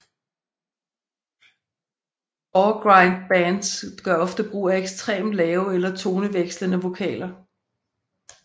Goregrind bands gør ofte brug af ekstremt lave eller tonevekslende vokaler